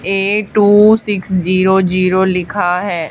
ए two six zero zero लिखा है।